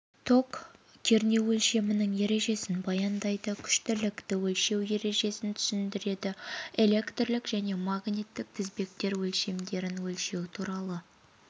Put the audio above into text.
ток кернеу өлшемінің ережесін баяндайды күштілікті өлшеу ережесін түсіндіреді электрлік және магниттік тізбектер өлшемдерін өлшеу туралы